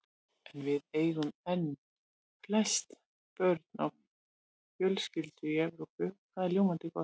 En við eigum enn flest börn á fjölskyldu í Evrópu og það er ljómandi gott.